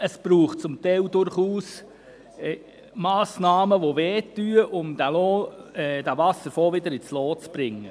Zum Teil braucht es durchaus Massnahmen, die schmerzen, um den Wasserfonds wiederum ins Lot zu bringen.